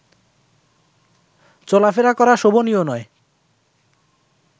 চলাফেরা করা শোভনীয় নয়